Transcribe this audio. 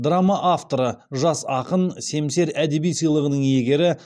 драма авторы жас ақын семсер әдеби сыйлығының иегері